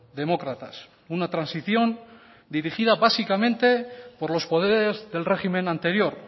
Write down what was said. demócratas una transición dirigida básicamente por los poderes del régimen anterior